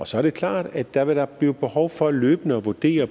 så er det klart at der da vil blive behov for løbende at vurdere